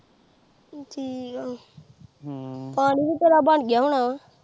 ਠੀਕ ਆ ਪਾਣੀ ਤੇ ਤੇਰਾ ਬਣ ਗਿਆ ਹੋਣਾ